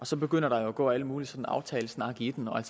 så begynder der jo at gå al mulig sådan aftalesnak i den og